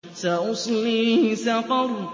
سَأُصْلِيهِ سَقَرَ